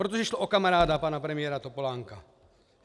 Protože šlo o kamaráda pana premiéra Topolánka.